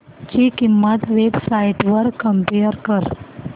ची किंमत web sites वर कम्पेअर कर